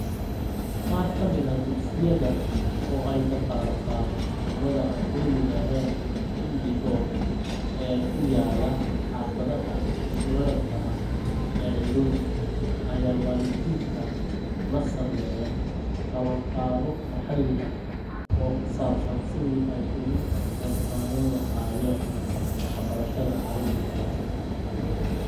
Qaar ka mid ah dugsiyada oo ay kafaalo-qaado ururrada aan dawliga ahayn (NGO) ee ku yaalla xaafadaha isku raranta ah ee Nairobi, ayaa waalidiinta la sameeya qabanqaabo maxalli ah oo ku saabsan sidii ay uga qayb qaadan lahaayeen waxbarashada carruurtooda.